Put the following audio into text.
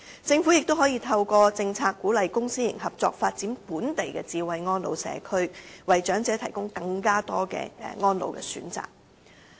政府亦可以透過政策，鼓勵公私營合作發展本地的"智慧安老社區"，為長者提供更多安老選擇。